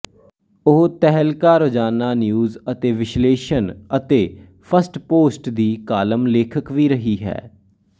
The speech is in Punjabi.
ਉਹ ਤਹਿਲਕਾ ਰੋਜ਼ਾਨਾ ਨਿਊਜ਼ ਅਤੇ ਵਿਸ਼ਲੇਸ਼ਣ ਅਤੇ ਫਸਟਪੋਸਟ ਦੀ ਕਾਲਮ ਲੇਖਕ ਵੀ ਰਹੀ ਹੈ